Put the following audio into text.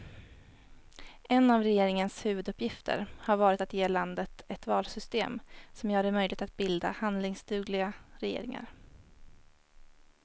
En av regeringens huvuduppgifter har varit att ge landet ett valsystem som gör det möjligt att bilda handlingsdugliga regeringar.